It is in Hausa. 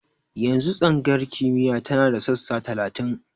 Yanzu tsangayar kimiyya tana da sassa talatin.